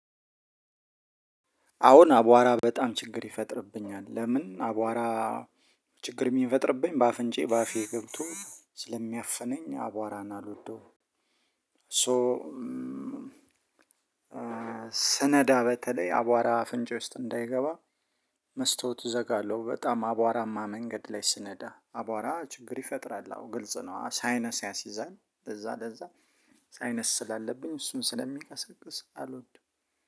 አሁን አቧራ በጣም ችግር ይፈጥርብኛል። ለምን አቧራ ችግር የሚፈጥርብኝ በአፍንጫዬ በአፌ ገብቶ ስለሚያፍነኝ አቧራን አልወደውም። ሶ- ስነዳ በተለይ አቧራ አፍንጫ ውስጥ እንዳይገባ መስታውት እዘጋለሁ። በጣም አቧራማ መንገድ ላይ ስነዳ። አቧራ ችግር ይፈጥራል አዎ ግልጽ ነው ሳይነስ ያሲዛል ለዛ ለዛ ሳይነስ ስላለብኝ እሱን ስለሚንቀሳቀስ አልወድም።